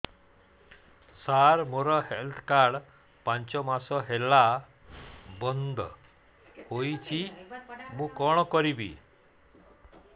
ସାର ମୋର health card ପାଞ୍ଚ ମାସ ହେଲା ବଂଦ ହୋଇଛି ମୁଁ କଣ କରିବି